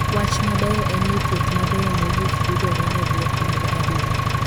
Wach maber en ni thieth mabeyo mogik yudore ne buok mag adundo.